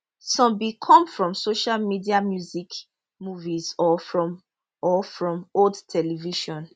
some bin come from social media music movies or from or from old television